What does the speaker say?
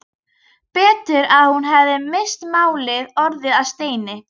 Betur að hún hefði misst málið, orðið að steini.